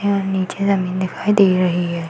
हैं और नीचे जमीन दिखाई दे रही है।